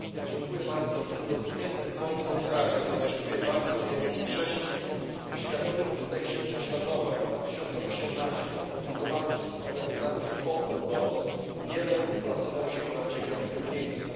Pani Przewodnicząca! W tym dotkniętym wojną kraju zamieszkuje bardzo wielu chrześcijan. W światowym indeksie prześladowań 2018 opublikowanym przez organizację Open Doors Jemen uplasował się na dziewiątym miejscu.